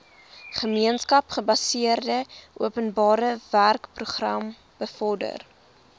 gemeenskapsgebaseerde openbarewerkeprogram bevorder